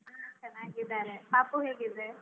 ಚೆನ್ನಾಗಿದ್ದಾರೆ. ಪಾಪು ಹೇಗಿದೆ?